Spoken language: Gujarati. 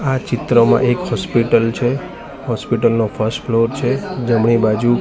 આ ચિત્રમાં એક હોસ્પિટલ છે હોસ્પિટલ નો ફર્સ્ટ ફ્લોર છે જમણી બાજુ--